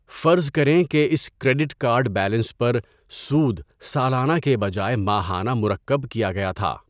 فرض کریں کہ اس کریڈٹ کارڈ بیلنس پر سود سالانہ کے بجائے ماہانہ مرکب کیا گیا تھا۔